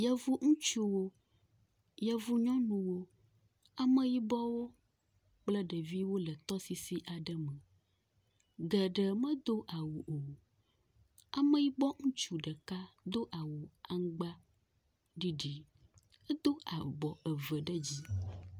Yevu ŋutsuwo. Yevu nyɔnuwo. Ameyibɔwo kple ɖeviwo le tɔsisi aɖe me. Geɖe medo awu o. ameyibɔ ŋutsu ɖeka do awu aŋgba ɖiɖi. Edo abɔ eve ɖe dzi.